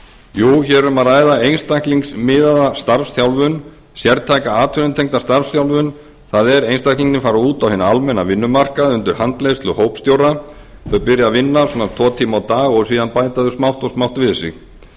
jú hér er um að ræða einstaklingsmiðaða starfsþjálfun sértæka atvinnutengda starfsþjálfun það er einstaklingarnir fara út á hinn almenna vinnumarkað undir handleiðslu hópstjóra þau byrja að vinna svona tvo tíma á dag og síðan bæta þau smátt og smátt við sig starfsþjálfunin